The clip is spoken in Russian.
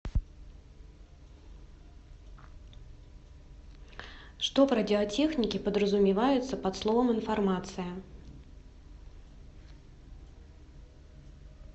что в радиотехнике подразумевается под словом информация